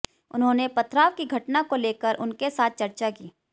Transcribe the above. उन्होंने पथराव की घटना को लेकर उनके साथ चर्चा की